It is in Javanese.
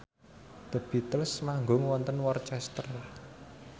The Beatles manggung wonten Worcester